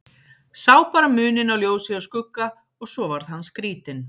Sá bara muninn á ljósi og skugga og svo varð hann skrítinn.